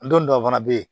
N don dɔw fana bɛ yen